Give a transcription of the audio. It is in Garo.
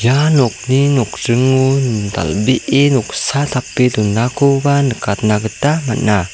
ia nokni nokdringo dal·bee noksa tape donakoba nikatna gita man·a.